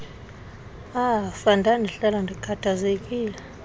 afa ndandihlala ndikhathazekile